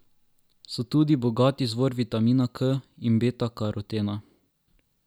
So tudi bogat izvor vitamina K in betakarotena.